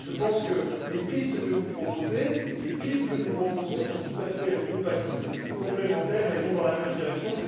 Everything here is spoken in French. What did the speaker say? Je pense que les pistes que vous proposez et celles que nous proposons sont tout à fait compatibles, complémentaires, et vont dans la même direction.